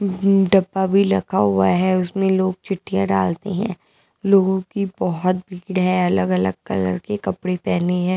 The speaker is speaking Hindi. अम्म हम्म डब्बा भी लखा हुआ है उसमें लोग चिठ्ठियाँ डालते हैं लोगों की बहुत भीड़ है अलग अलग कलर के कपड़े पहने है।